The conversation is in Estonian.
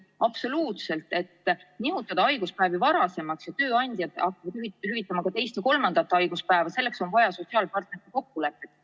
Absoluutselt, selleks et nihutada haiguspäevade hüvitamist varasemaks, nii et tööandjad hakkaksid hüvitama ka teist või kolmandat haiguspäeva, on vaja sotsiaalpartneritega kokkuleppele jõuda.